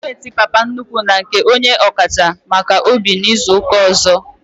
Apointiment Papa nnukwu na nke onye ọkacha maka obi bụ izuka ọzọ